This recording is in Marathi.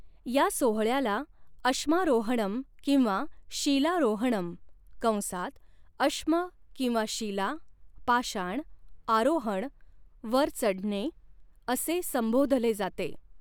या सोहळ्याला अश्मारोहणम किंवा शीलारोहणम कंसात अश्म किंवा शीलाः पाषाण, आरोहणः वर चढणे असे संबोधले जाते.